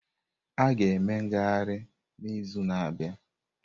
A ga-eme ngagharị a n'izu na-abịa.